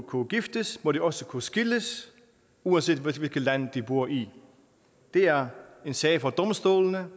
kunne giftes må de også kunne skilles uanset hvilket land de bor i det er en sag for domstolene